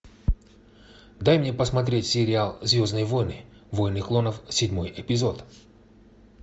дай мне посмотреть сериал звездные войны войны клонов седьмой эпизод